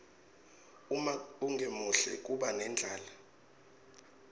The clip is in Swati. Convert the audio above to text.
uma ungemuhle kuba nendlala